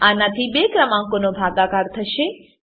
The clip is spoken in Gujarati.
આનાથી બે ક્રમાંકોનો ભાગાકાર થશે